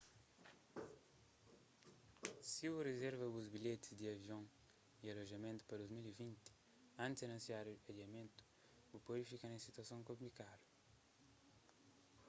si bu rizerva bu bilhetis di aviony alojamentu pa 2020 antis anunsiadu adiamentu bu pode fika na un situason konplikadu